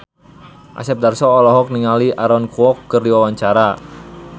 Asep Darso olohok ningali Aaron Kwok keur diwawancara